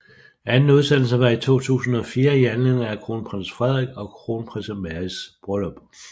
Anden udsendelse var i 2004 i anledning af Kronprins Frederik og Kronprinsesse Marys bryllup